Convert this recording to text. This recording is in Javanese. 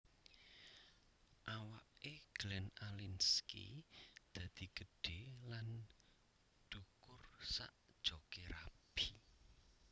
Awak e Glenn Alinskie dadi gedhe lan dhukur sak jok e rabi